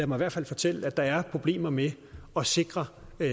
mig fortælle at der er problemer med at sikre